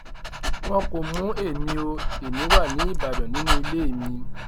wọn kò mú èmi o ẹmí wá ní ìbàdàn nínú ilé mi